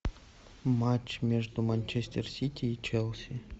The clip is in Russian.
матч между манчестер сити и челси